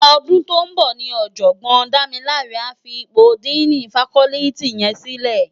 Òdún tó n bò ni òjògbòn Damilare á fi ipó dìní fákòlìtí yèn silè